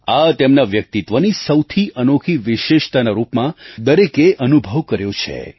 આ તેમના વ્યક્તિત્વની સૌથી અનોખી વિશેષતાના રૂપમાં દરેકે અનુભવ કર્યો છે